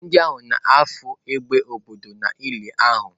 Ndị ahụ nọ na-afụ égbè obodo n'ili ahụ.